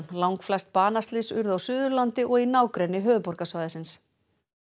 langflest banaslys urðu á Suðurlandi og í nágrenni höfuðborgarsvæðisins